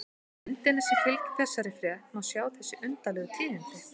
Á myndinni sem fylgir þessari frétt má sjá þessi undarlegu tíðindi.